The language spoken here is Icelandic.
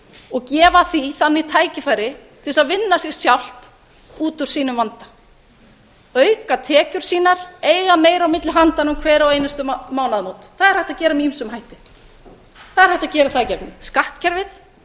og gefa því þannig tækifæri til þess að vinna sig sjálft út úr sínum vanda auka tekjur sínar eiga meira á milli handanna um hver einustu mánaðamót það er hægt að gera með ýmsum hætti það er hægt að gera það í gegnum skattkerfið